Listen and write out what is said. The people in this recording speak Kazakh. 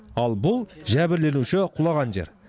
ал бұл жәбірленуші құлаған жер